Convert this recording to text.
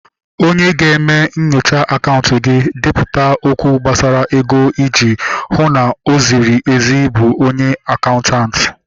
Onye ga-eme nyochaa akaụntụ gị, depụta okwụ gbasara ego iji hụ na o ziri ezi bụ onye akaụntanti